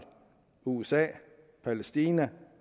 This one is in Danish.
usa og mellem palæstina